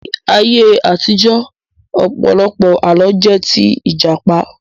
Ní ayé àtijọ́, ọ̀pọ̀lọpọ̀ Àlọ́ jẹ́ tí Ìjàpá